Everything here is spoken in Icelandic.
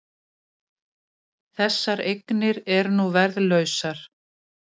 Þessar eignir eru nú verðlausar